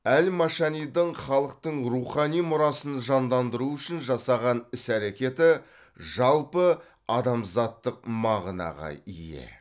әл машанидің халықтың рухани мұрасын жандандыру үшін жасаған іс әрәкеті жалпыадамзаттық мағынаға ие